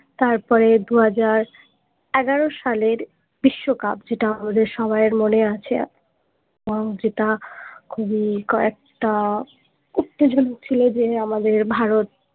তারপরে দুহাজার এগোরো সালের বিশ্বকাপ যেটা আমাদের সবাই এর মনে আছে এবং সেটা খুবই একটা উত্তেজনা ছিল যে আমাদের ভারত